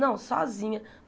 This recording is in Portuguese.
Não, sozinha.